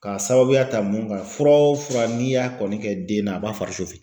K'a sababuya ta mun ka fura o fura n'i y'a kɔni kɛ den na a b'a fari